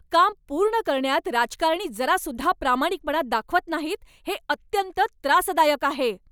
काम पूर्ण करण्यात राजकारणी जरासुद्धा प्रामाणिकपणा दाखवत नाहीत, हे अत्यंत त्रासदायक आहे.